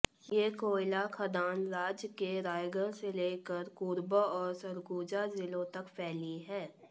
ये कोयला खदान राज्य के रायगढ़ से लेकर कोरबा और सरगुजा जिलों तक फैली है